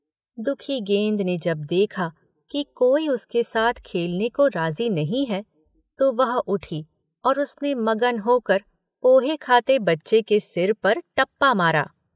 दुखी गेंद ने जब देखा कि कोई उसके साथ खेलने को राजी नहीं है तो वह उठी और उसने मगन होकर पोहे खाते बच्चे के सिर पर टप्पा मारा।